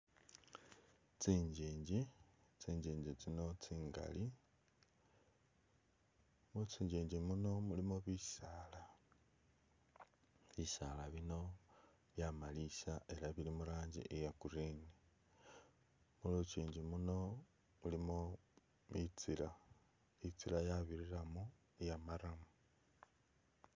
Tsinjinji tsinjinji tsino tsingali mu tsi’njinji mono mulimo bisala , bisala bino byamalisa ela bili mu ranji iya’green , mulukyinji muno mulino itsila, itsila yabirilamo iya murram.